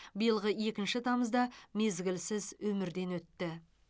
биылғы екінші тамызда мезгілсіз өмірден өтті